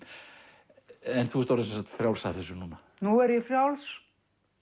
en þú ert orðin frjálsari af þessu núna nú er ég frjáls